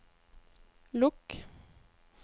lukk